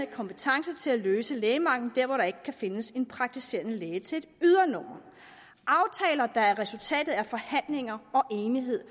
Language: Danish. kompetence til at løse lægemanglen der hvor der ikke kan findes en praktiserende læge til et ydernummer aftaler der er resultatet af forhandlinger og enighed